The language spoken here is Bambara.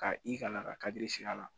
Ka i kalan ka kadiri siri a la